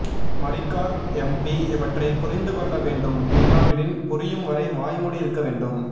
Marikkar MP இவற்றைப் புரிந்து கொள்ள வேண்டும் இல்லாவிடின் புரியும் வரை வாய்மூடி இருக்க வேண்டும்